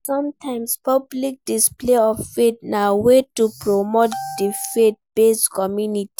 Sometimes public display of faith na way to promote di faith based community